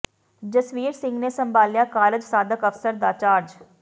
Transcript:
ਜਸਵੀਰ ਸਿੰਘ ਨੇ ਸੰਭਾਲਿਆ ਕਾਰਜ ਸਾਧਕ ਅਫਸਰ ਦਾ ਚਾਰਜ